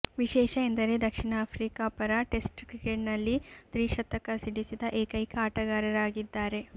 ವಿಶೇಷ ಎಂದರೆ ದಕ್ಷಿಣ ಆಫ್ರಿಕಾ ಪರ ಟೆಸ್ಟ್ ಕ್ರಿಕೆಟ್ನಲ್ಲಿ ತ್ರಿಶತಕ ಸಿಡಿಸಿದ ಏಕೈಕಾ ಆಟಗಾರರಾಗಿದ್ದಾರೆ